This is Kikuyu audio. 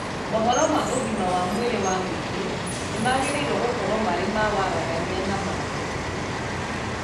Mohoro ma ũgima wa mwĩrĩ wa mũingĩ nĩmagĩrĩirwo gũkorwo marĩ ma waragania na magĩrĩru